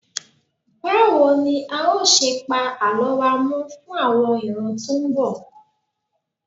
Báwo ni a ó ṣe pa Àlọ́ wa mọ́ fún àwọn ìran tó ń bọ̀?